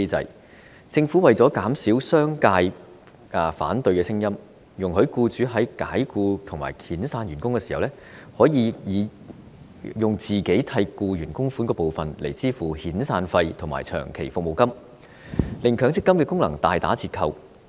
當初政府為了減少商界的反對聲音，容許僱主在解僱或遣散員工時，以僱主為僱員供款的部分用作抵銷遣散費和長期服務金，令強積金的功能大打折扣。